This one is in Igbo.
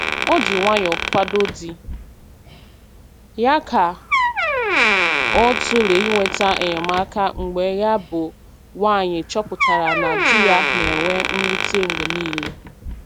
O ji obi nwayọ kwado di ya ka ọ tụlee ịnweta enyemaka mgbe ya bụ nwaanyị chọpụtara na di ya na-enwe mwute mgbe niile.